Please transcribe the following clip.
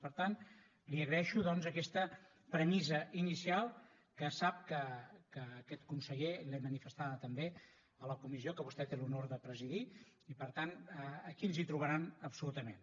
per tant li agraeixo doncs aquesta premissa inicial que sap que aquest conseller l’ha manifestada també a la comissió que vostè té l’honor de presidir i per tant aquí ens hi trobaran absolutament